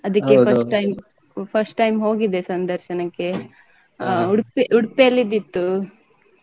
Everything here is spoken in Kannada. ಅದಿಕ್ಕೆ first time first time ಹೋಗಿದ್ದೆ ಸಂದರ್ಶನಕ್ಕೆ ಆ Udupi Udupi ಅಲ್ಲಿ ಇದ್ದಿತ್ತು.